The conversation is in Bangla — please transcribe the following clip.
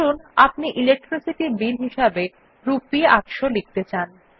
ধরুন আপনি ইলেকট্রিসিটি বিল হিসাবে রূপিস 800 লিখতে চান